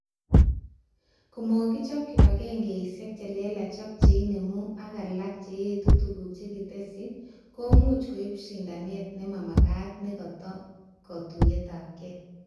Komakichob kibagengeishe chelelach ak cheinemu ak alak cheetu tuguk chekitesyi komuch koib shindanet nemamagat nekata katuyeabke